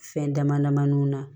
Fɛn dama damanin na